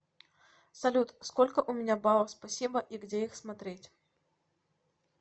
салют сколько у меня баллов спасибо и где их смотреть